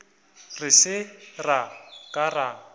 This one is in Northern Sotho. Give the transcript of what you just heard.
re se ra ka ra